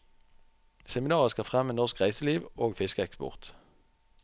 Seminaret skal fremme norsk reiseliv og fiskeeksport.